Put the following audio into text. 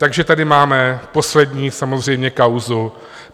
Takže tady máme poslední samozřejmě kauzu.